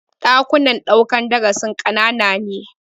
Ɗakunan ɗaukan darasin ƙanana ne.